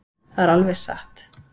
Það er alveg satt.